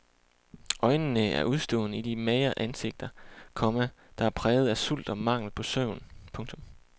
Øjnene er udstående i de magre ansigter, komma der er præget af sult og mangel på søvn. punktum